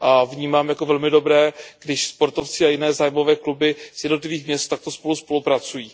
Vnímám jako velmi dobré, když spolu sportovci a jiné zájmové kluby z jednotlivých měst takto spolupracují.